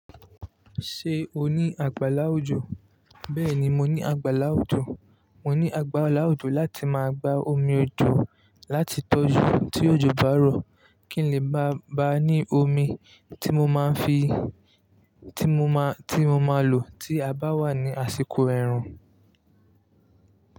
Ṣé o ní àgbàlá òjò? Bẹ́ẹ̀ni, mo ní àgbàlá òjò. Mo ní àgbàlá òjò láti máa gba omi òjò láti tọ́jú tí òjò bá rọ̀ kí n lè bá ba ní omi tí mo máa fi tí mo máa, tí mo máa lò tí a bá wà ní àsìkò rẹ̀rùn.